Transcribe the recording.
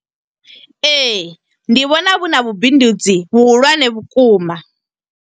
Ee, ndi vhona vhu na vhubindudzi vhu hulwane vhukuma.